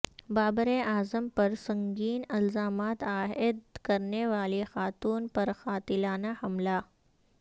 بابر اعظم پر سنگین الزامات عائد کرنے والی خاتون پر قاتلانہ حملہ